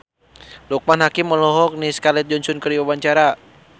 Loekman Hakim olohok ningali Scarlett Johansson keur diwawancara